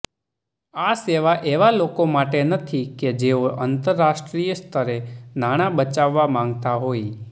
આ સેવા એવા લોકો માટે નથી કે જેઓ આંતરરાષ્ટ્રીય સ્તરે નાણાં બચાવવા માંગતા હોય